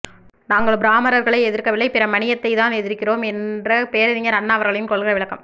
நாங்கள் பிராமணர்களை எதிர்க்கவில்லை பிரமணீயத்தைத்தான் எதிர்க்கிறோம் என்ற பேரறிஞர் அண்ணா அவர்களின் கொள்கை விளக்கம்